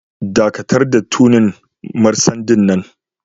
Dakatar da tuning marcendin nan!